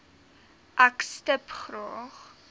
ek stip graag